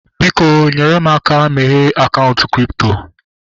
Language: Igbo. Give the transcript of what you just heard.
Biko, nyere m aka meghee akaụntụ kripto